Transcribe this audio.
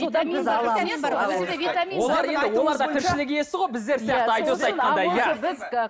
олар да тіршілік иесі ғой біздер сияқты айдос айтқандай иә